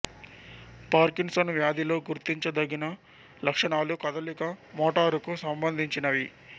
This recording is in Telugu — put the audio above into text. పార్కిన్సన్ వ్యాధిలో గుర్తించదగిన లక్షణాలు కదలిక మోటారు కు సంబంధించినవి